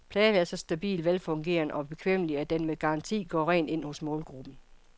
Pladen er så stabil, velfungerende og bekvemmelig, at den med garanti går rent ind hos målgruppen.